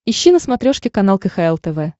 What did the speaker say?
ищи на смотрешке канал кхл тв